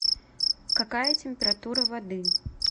какая температура воды